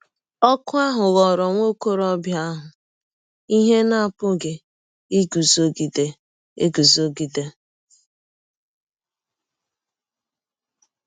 Ọ̀kụ ahụ ghọọrọ nwa ọkọrọbịa ahụ ihe a na - apụghị iguzogide eguzogide.